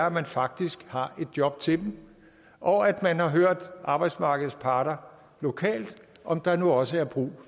at man faktisk har et job til dem og at man har hørt arbejdsmarkedets parter lokalt om der nu også er brug